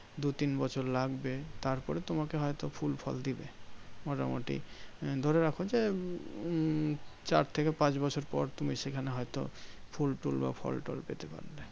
দু তিন বছর লাগবে। তারপরে তোমাকে হয়ত ফুল ফল দিবে। মোটামুটি ধরে রাখো যে, উম চার থেকে পাঁচ বছর পর তুমি সেখানে হয়ত ফুল টুল বা ফল টল পেতে পারো।